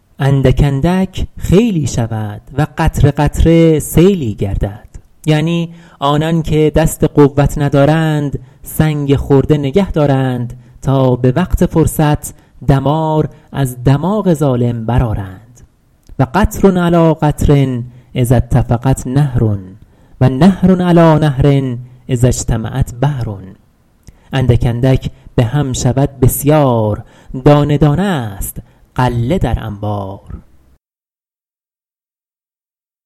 اندک اندک خیلی شود و قطره قطره سیلی گردد یعنی آنان که دست قوت ندارند سنگ خرده نگه دارند تا به وقت فرصت دمار از دماغ ظالم برآرند و قطر علیٰ قطر اذا اتفقت نهر و نهر علیٰ نهر اذا اجتمعت بحر اندک اندک به هم شود بسیار دانه دانه است غله در انبار